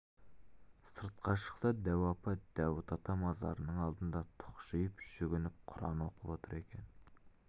сыртқа шықса дәу апа дәуіт ата мазарының алдында тұқшиып жүгініп құран оқып отыр екен